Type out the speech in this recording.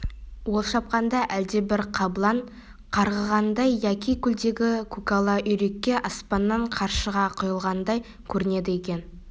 ол шапқанда әлдебір қабылан қарғығандай яки көлдегі көкала үйрекке аспаннан қаршыға құйылғандай көрінеді екен